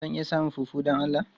Zan iya samun fufu don Allah?